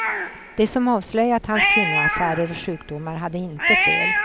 De som avslöjat hans kvinnoaffärer och sjukdomar hade inte fel.